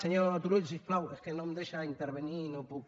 senyor turull si us plau és que no em deixa intervenir i no puc